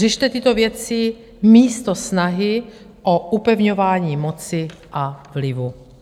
Řešte tyto věci místo snahy o upevňování moci a vlivu.